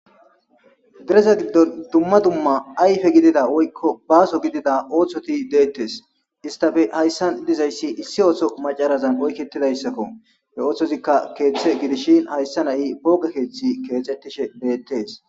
Deresa giddon dumma dumma ayfe gidida woykko baaso gidida ooththoti deettes istafe hayssan dizayssi issi ooto macarazan oykketidayssakko he ooththozikka keeththe gidishin hayssa na7i booge keeththi keexettishe deettes.